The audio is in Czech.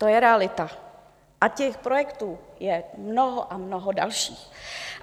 To je realita, s těch projektů je mnoho a mnoho dalších.